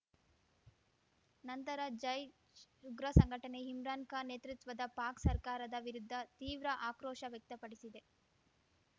ನಂತರ ಜೈಶ್ ಉಗ್ರ ಸಂಘಟನೆ ಇಮ್ರಾನ್ ಖಾನ್ ನೇತೃತ್ವದ ಪಾಕ್ ಸರ್ಕಾರದ ವಿರುದ್ಧ ತೀವ್ರ ಆಕ್ರೋಶ ವ್ಯಕ್ತಪಡಿಸಿದೆ